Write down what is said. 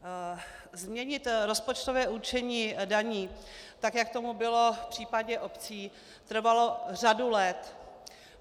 Změnit rozpočtové určení daní, tak jak tomu bylo v případě obcí, trvalo řadu let.